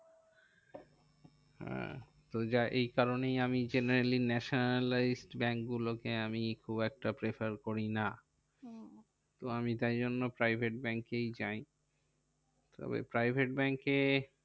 হ্যাঁ তো এই কারণেই আমি generally nationalize bank গুলো কে আমি খুব একটা prefer করি না। তো আমি তাই জন্য private bank এই যাই। তবে private bank এ